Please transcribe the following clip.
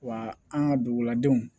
Wa an ka duguladenw